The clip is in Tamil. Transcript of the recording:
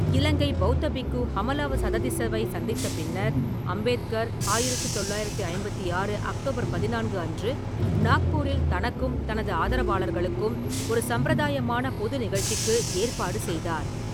இலங்கை பெளத்த பிக்கு ஹமலாவ சததிஸ்ஸவை சந்தித்த பின்னர், அம்பேத்கர் ஆயிரத்து தொள்ளாயிரத்து ஐம்பத்தி ஆறு அக்டோபர் பதினான்கு அன்று நாக்பூரில் தனக்கும் தனது ஆதரவாளர்களுக்கும் ஒரு சம்பிரதாயமான பொது நிகழ்ச்சிக்கு ஏற்பாடு செய்தார்.